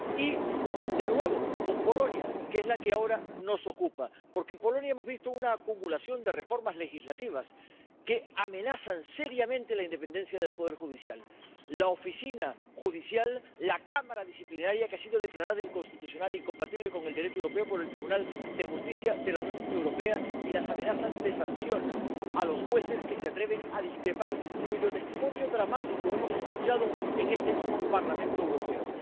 Y, de nuevo, con Polonia, que es la que ahora nos ocupa. Porque en Polonia hemos visto una acumulación de reformas legislativas que amenazan seriamente la independencia del poder judicial la Oficina Judicial, la Cámara Disciplinaria, que ha sido declarada inconstitucional e incompatible con el Derecho europeo por el Tribunal de Justicia de la Unión Europea, y las amenazas de sanciones a los jueces que se atreven a discrepar, cuyo testimonio dramático hemos escuchado en este mismo Parlamento Europeo.